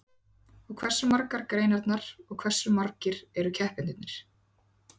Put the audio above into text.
Og hversu margar eru greinarnar og hversu margir eru keppendurnir?